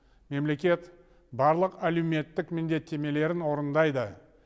мемлекет барлық әлеуметтік міндеттемелерін орындайды